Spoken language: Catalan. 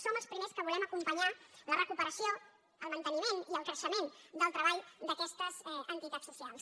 som els primers que volem acompanyar la recupera·ció el manteniment i el creixement del treball d’aques·tes entitats socials